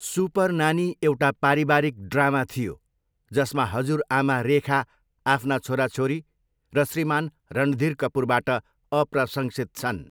Super Nani एउटा पारिवारिक drama थियो, जसमा हजुरआमा रेखा आफ्ना छोराछोरी र श्रीमान् रणधीर कपुरबाट अप्रशंसित छन्।